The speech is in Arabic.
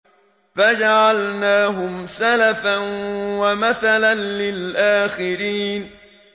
فَجَعَلْنَاهُمْ سَلَفًا وَمَثَلًا لِّلْآخِرِينَ